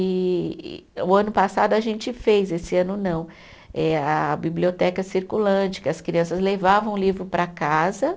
E e o ano passado a gente fez, esse ano não, eh a biblioteca circulante, que as crianças levavam o livro para casa